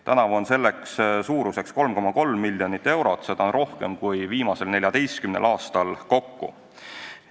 Tänavu on selleks ette nähtud 3,3 miljonit eurot, mis on rohkem kui viimasel 14 aastal kokku.